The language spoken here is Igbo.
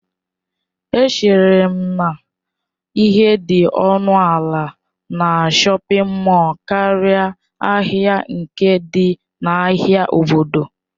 Echere m na ihe dị ọnụ ala na shọpin mọll karịa ahịa nke dị n'ahịa obodo.